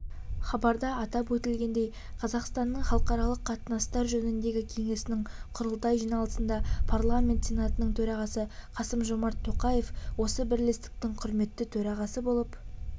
хабарда атап өтілгендей қазақстанның халықаралық қатынастар жөніндегі кеңесінің құрылтай жиналысында парламент сенатының төрағасы қасым-жомарт тоқаев осы бірлестіктің құрметті төрағасы болып